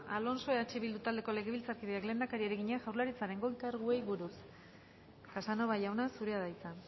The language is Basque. alonso eh bildu taldeko legebiltzarkideak lehendakariari egina jaurlaritzaren goi karguei buruz casanova jauna zurea da hitza